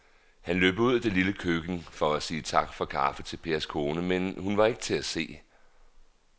Han løb ud i det lille køkken for at sige tak for kaffe til Pers kone, men hun var ikke til at se.